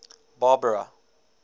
barbara